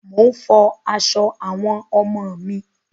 Mò ń fọ aṣọ àwọn ọmọ mi.